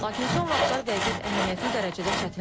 Lakin son vaxtlar vəziyyət əhəmiyyətli dərəcədə çətinləşib.